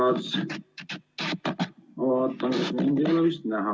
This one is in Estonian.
Sõbrad, ma vaatan, et mind ei ole vist näha.